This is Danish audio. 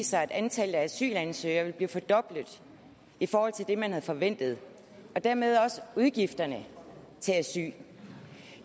sig at antallet af asylansøgere vil blive fordoblet i forhold til det man havde forventet og dermed også udgifterne til asyl